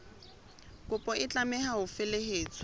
kopo e tlameha ho felehetswa